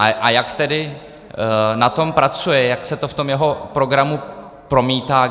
A jak tedy na tom pracuje, jak se to v tom jeho programu promítá.